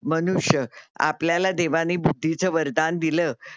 मनुष्य आपल्याला देवाने बुद्धीच वरदान दिलं.